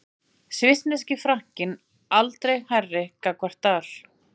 Svissneski frankinn aldrei hærri gagnvart dal